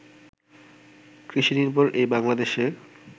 কৃষিনির্ভর এই বাংলাদেশে